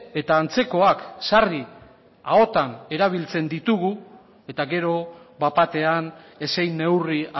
eta antzekoak sarri ahotan erabiltzen ditugu eta gero bat batean ezein neurri